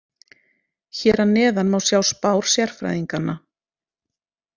Hér að neðan má sjá spár sérfræðinganna.